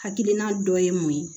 Hakilina dɔ ye mun ye